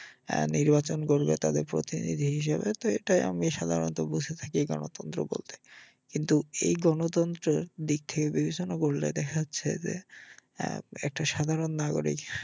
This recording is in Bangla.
আহ নির্বাচন করবে তাদের প্রতিনিধি হিসেবে তো এটা এমনি সাধারণত বুঝে থাকি গনতন্ত্র বলতে কিন্তু এই গণতন্ত্রের দিক থেকে বিবেচনা করলে দেখা যাচ্ছে যে এর একটা সাধারন নাগরিক